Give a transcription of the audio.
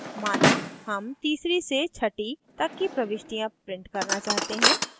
माना हम तीसरी से छठी तक की प्रविष्टियाँ print करना चाहते हैं